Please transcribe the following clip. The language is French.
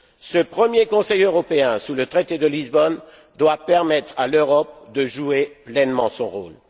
Ce premier Conseil européen sous le traité de Lisbonne doit permettre à l'Europe de jouer pleinement son